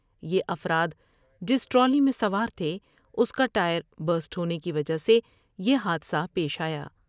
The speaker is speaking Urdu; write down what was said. یہ افراد جس ٹرالی میں سوار تھے اس کا ٹائر بسٹ ہونے کی وجہ سے یہ حادثہ پیش آیا ۔